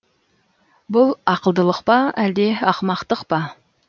бұл ақылдылық па әлде ақымақтық па